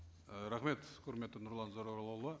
і рахмет құрметті нұрлан зайроллаұлы